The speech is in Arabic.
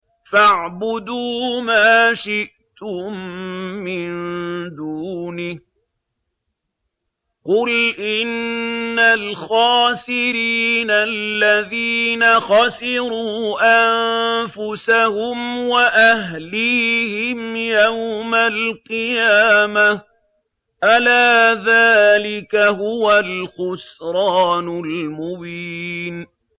فَاعْبُدُوا مَا شِئْتُم مِّن دُونِهِ ۗ قُلْ إِنَّ الْخَاسِرِينَ الَّذِينَ خَسِرُوا أَنفُسَهُمْ وَأَهْلِيهِمْ يَوْمَ الْقِيَامَةِ ۗ أَلَا ذَٰلِكَ هُوَ الْخُسْرَانُ الْمُبِينُ